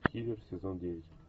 хивер сезон девять